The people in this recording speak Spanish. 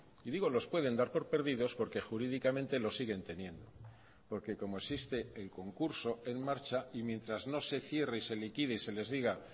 y digo los pueden dar por perdidos porque jurídicamente los siguen teniendo porque como existe el concurso en marcha y mientras no se cierre y se liquide y se les diga